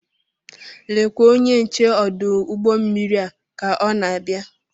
Lekwa onye nche ọdụ ụgbọ mmiri a ka ọ na-abịa.